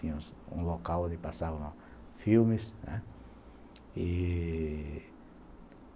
Tinha um local onde passavam filmes, né? E